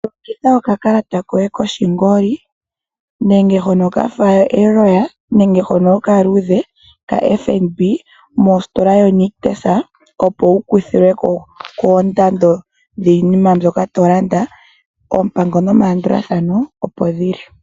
Longitha okakalata koye koshingoli nenge hono kafa eloya nenge hono okaluudhe kaFNB mositola yoNictus opo wu kuthilwe ko koondando dhiinima mbyoka to landa oompango nomalandulathano opo dhili.